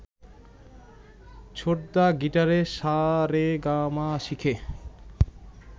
ছোটদা গিটারে সা রে গা মা শিখে